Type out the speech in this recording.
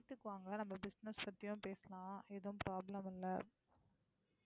வீட்டுக்கு வாங்க, நம்ம business பத்தியும் பேசலாம். எதுவும் problem இல்லை.